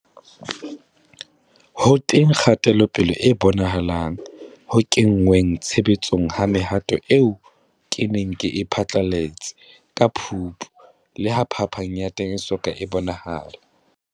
Ho teng kgatelopele e bonahalang ho kengweng tshebetsong ha mehato eo ke neng ke e phatlalatse ka Phupu, leha phapang ya teng e so ka e bonahala.